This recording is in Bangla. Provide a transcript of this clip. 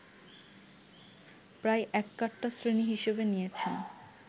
প্রায়ই ‘এককাট্টা শ্রেণী’ হিসেবে নিয়েছেন